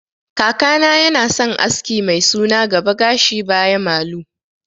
Kakana yana son aski mai suna gaba gashi baya malu